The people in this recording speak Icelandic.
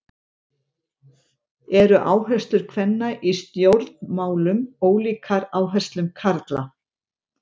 Eru áherslur kvenna í stjórnmálum ólíkar áherslum karla?